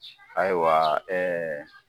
Ayiwa ɛɛ